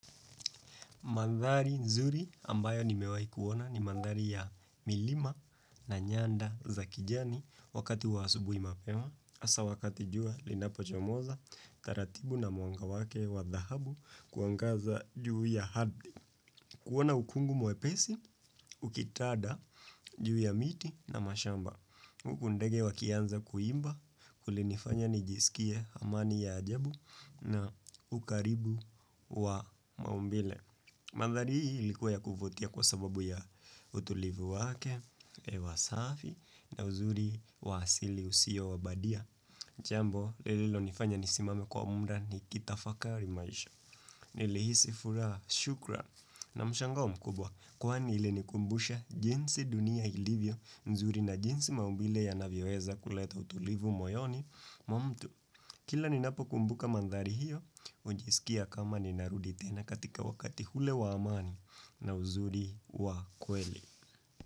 Mandhari nzuri ambayo nimewahi kuona ni mandhari ya milima na nyanda za kijani wakati wa asubuhi mapema, hasa wakati jua linapochomoza, taratibu na mwanga wake wa dhahabu kuangaza juu ya ardhi. Kuona ukungu mwepesi, ukitanda juu ya miti na mashamba. Huku ndege wakianza kuimba, kulinifanya nijisikie amani ya ajabu na ukaribu wa maumbile. Mandhari hii ilikuwa ya kuvutia kwa sababu ya utulivu wake, hewa safi na uzuri wa asili usio wabadia. Jambo, lililonifanya nisimame kwa muda nikitafakari maisha. Nilihisi furaha shukran na mshangao mkubwa. Kwani ilinikumbusha jinsi dunia ilivyo nzuri na jinsi maumbile yanavyoweza kuleta utulivu moyoni mwa mtu. Kila ninapokumbuka mandhari hiyo, hujisikia kama ninarudi tena katika wakati ule wa amani na uzuri wa kweli.